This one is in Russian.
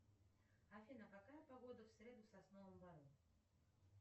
афина какая погода в среду в сосновом бору